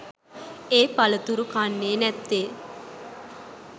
ඒ පළතුරු කන්නෙ නැත්තෙ?